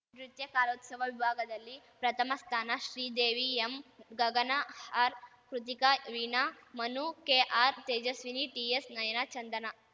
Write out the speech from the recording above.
ನೃತ್ಯಕಾಲೋತ್ಸವ ವಿಭಾಗದಲ್ಲಿ ಪ್ರಥಮ ಸ್ಥಾನ Sridevi M Gagana R Krithika Veena Manu KR Tejaswini TS Nayana ಚಂದನ